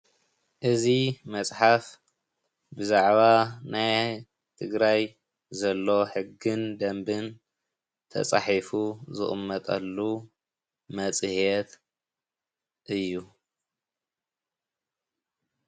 እዚ መፅሓፍ ብዛዕባ ናይ ትግራይ ዘሎ ሕግን ደንብን ተፃሒፉ ዝቅመጠሉ መፅሄት እዩ።